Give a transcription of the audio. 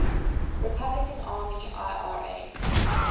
republican army ira